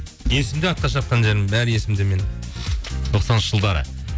есімде атқа шапқан жерім бәрі есімде менің тоқсаныншы жылдары